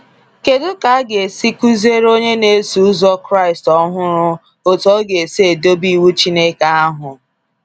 Kedụ ka aga esi kuziere onye na eso ụzọ Kraịst ọhụrụ otu ọ ga esi dobe iwu Chineke ahụ?